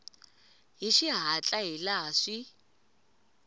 hi xihatla hi laha swi